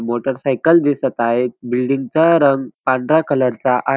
motorcycle दिसत आहेत बिल्डिंगचा रंग पांढरा कलर चा आ--